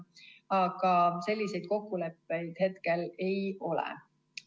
Aga selliseid kokkuleppeid meil hetkel ei ole.